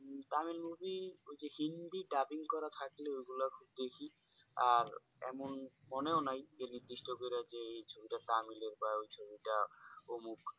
Tamil movie ওই Hindi dubbing করা থাকলে এগুলো দেখি আর এমন মনেও নাই যে নির্দিষ্ট করে এই ছবিটা তামিল এ বা ওই ছবিটা অমুক